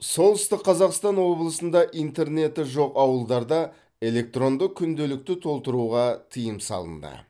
солтүстік қазақстан облысында интернеті жоқ ауылдарда электронды күнделікті толтыруға тыйым салынды